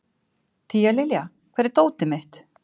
Tíalilja, hvar er dótið mitt?